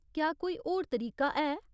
क्या कोई होर तरीका है?